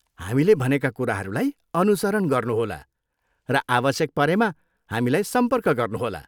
हामीले भनेका कुराहरूलाई अनुसरण गर्नुहोला र आवश्यक परेमा हामीलाई सम्पर्क गर्नुहोला।